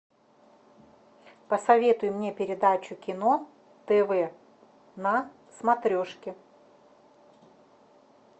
посоветуй мне передачу кино тв на смотрешке